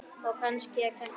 Og kannski er þetta ég.